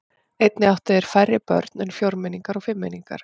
Einnig áttu þeir færri börn en fjórmenningar og fimmmenningar.